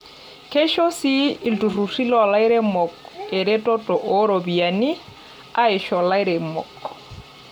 Keisho sii ilturruri loolairemok eretoto oo ropiyiani aisho lairemok.